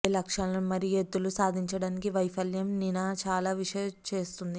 ఏ లక్ష్యాలను మరియు ఎత్తులు సాధించడానికి వైఫల్యం నినా చాలా విష చేస్తుంది